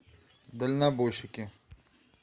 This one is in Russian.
дальнобойщики